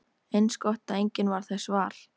Eins gott að enginn varð þess var!